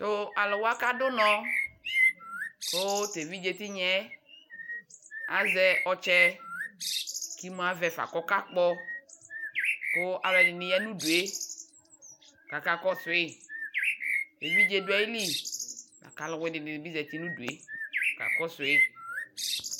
Taluwa kadu unɔɔ kuu teviɖʒe tinyaɛ aʒɛ ɔtsɛ kimuavɛ fa kɔkakpɔ ku aluɛdini ya nudue kakakɔsui Eviɖʒe duayili lakaluwini nibi ʒatinudue kakɔsui